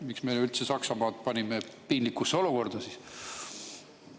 Miks me üldse panime Saksamaa piinlikusse olukorda?